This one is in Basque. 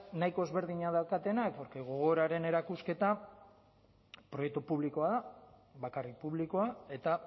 nahiko ezberdina daukatenak porque gogoraren erakusketa proiektu publikoa da bakarrik publikoa eta